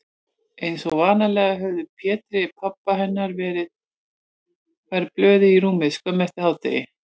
Einsog vanalega höfðu Pétri, pabba hennar, verið færð blöðin í rúmið skömmu eftir hádegið.